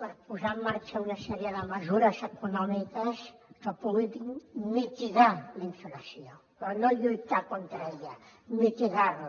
per posar en marxa una sèrie de mesures econòmiques que puguin mitigar la inflació però no lluitar contra ella mitigar la